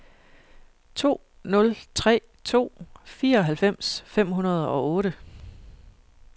to nul tre to fireoghalvfems fem hundrede og otte